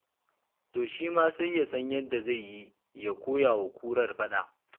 To shi ma sai ya san yadda zai yi ya koya wa kurar faɗa.